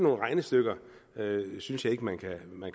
regnestykker synes jeg ikke man kan